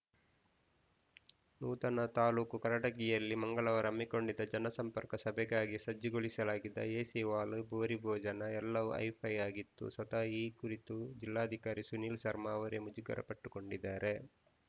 ನೂತನ ತಾಲೂಕು ಕಾರಟಗಿಯಲ್ಲಿ ಮಂಗಳವಾರ ಹಮ್ಮಿಕೊಂಡಿದ್ದ ಜನ ಸಂಪರ್ಕ ಸಭೆಗಾಗಿ ಸಜ್ಜುಗೊಳಿಸಲಾಗಿದ್ದ ಎಸಿ ಹಾಲ್‌ ಭೂರಿ ಭೋಜನ ಎಲ್ಲವೂ ಹೈಫೈ ಆಗಿತ್ತು ಸ್ವತಃ ಈ ಕುರಿತು ಜಿಲ್ಲಾಧಿಕಾರಿ ಸುನಿಲ್‌ ಶರ್ಮಾ ಅವರೇ ಮುಜುಗರಪಟ್ಟುಕೊಂಡಿದ್ದಾರೆ